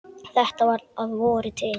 Þetta var að vori til.